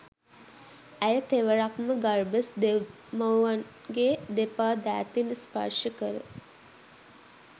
ඇය තෙවරක් ම ගර්බස් දෙව් මව්න්ගේ දෙපා දෑතින් ස්පර්ශ කර